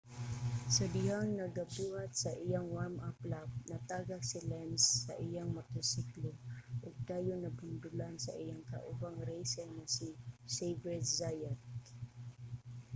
sa dihang nagabuhat sa iyang warm-up lap natagak si lenz sa iyang motorsiklo ug dayon nabundulan sa iyang kaubang racer nga si xavier zayat